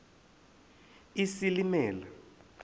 isilimela